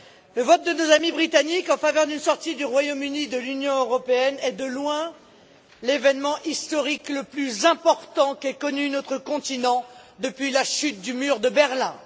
Le vote de nos amis britanniques en faveur d'une sortie du Royaume Uni de l'Union européenne est, de loin, l'événement historique le plus important qu'ait connu notre continent depuis la chute du mur de Berlin.